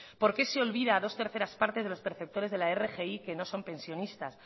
por qué se olvida a dos terceras partes de los perceptores de la rgi que no son pensionistas